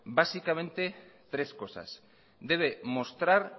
básicamente tres cosas debe mostrar